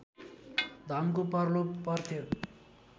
धनको प्रलोभ पर्थ्यो